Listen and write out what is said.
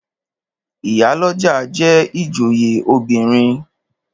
Ìyálọ́jà jẹ́ ìjòyè obìnrin.